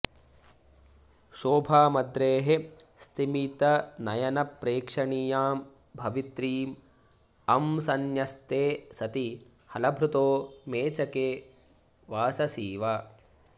शोभामद्रेः स्तिमितनयनप्रेक्षणीयां भवित्रीं अंसन्यस्ते सति हलभृतो मेचके वाससीव